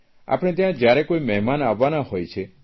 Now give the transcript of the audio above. આપણે ત્યાં જયારે કોઇ મહેમાન આવવાના હોય છે